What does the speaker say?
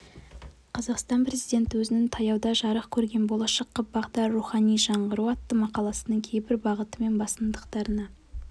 қазақстан президенті өзінің таяуда жарық көрген болашаққа бағдар рухани жаңғыру атты мақаласының кейбір бағыты мен басымдықтарына